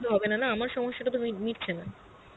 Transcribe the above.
হবেনা না, আমার সমস্যা টা তো মি~ মিটছে না